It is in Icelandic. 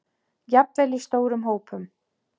Jafnvel í stórum hópum?